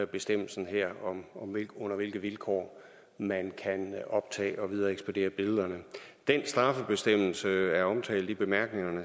bestemmelsen her om under hvilke vilkår man kan optage og videre ekspedere billeder den straffebestemmelse er omtalt i bemærkningerne